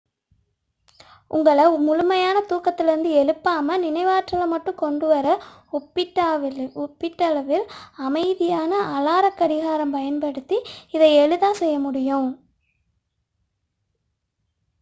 உங்களை முழுமையாக தூக்கத்திலிருந்து எழுப்பாமல் நினைவாற்றலை மட்டும் கொண்டு வர ஒப்பீட்டளவில் அமைதியான அலார கடிகாரம் பயன்படுத்தி இதை எளிதாகச் செய்ய முடியும்